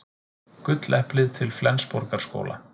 Gulleplið til Flensborgarskóla